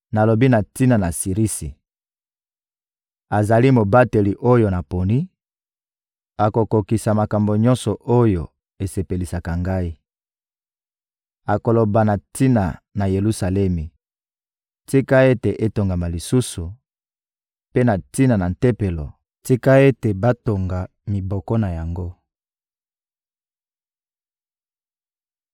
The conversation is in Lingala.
Nalobi na tina na Sirisi: ‹Azali mobateli oyo naponi, akokokisa makambo nyonso oyo esepelisaka Ngai. Akoloba na tina na Yelusalemi: ‘Tika ete etongama lisusu,’ mpe na tina na Tempelo: ‘Tika ete batonga miboko na yango.’›»